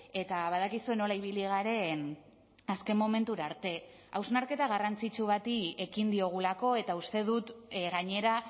eta badakizue nola ibili garen azken momentura arte hausnarketa garrantzitsu bati ekin diogulako eta uste dut gainera